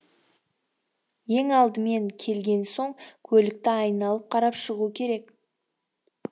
ең алдымен келген соң көлікті айналып қарап шығу керек